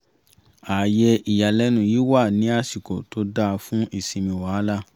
ààyè ìyàlẹ́nu yìí wá ní àsìkò tó dáa fún ìsinmi wàhálà